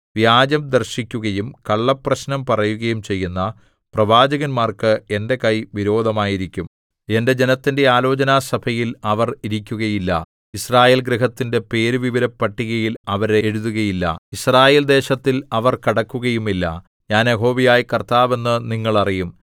വ്യാജം ദർശിക്കുകയും കള്ളപ്രശ്നം പറയുകയും ചെയ്യുന്ന പ്രവാചകന്മാർക്ക് എന്റെ കൈ വിരോധമായിരിക്കും എന്റെ ജനത്തിന്റെ ആലോചനാസഭയിൽ അവർ ഇരിക്കുകയില്ല യിസ്രായേൽ ഗൃഹത്തിന്റെ പേരുവിവരപട്ടികയിൽ അവരെ എഴുതുകയില്ല യിസ്രായേൽദേശത്തിൽ അവർ കടക്കുകയുമില്ല ഞാൻ യഹോവയായ കർത്താവ് എന്ന് നിങ്ങൾ അറിയും